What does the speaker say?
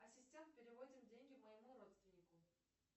ассистент переводим деньги моему родственнику